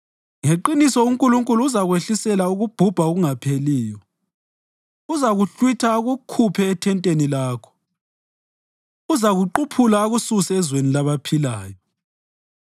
Ngeqiniso uNkulunkulu uzakwehlisela ukubhubha okungapheliyo: Uzakuhlwitha akukhuphe ethenteni lakho; uzakuquphula akususe elizweni labaphilayo.